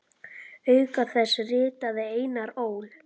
Auk þess ritaði Einar Ól.